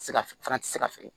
Se ka fana tɛ se ka feere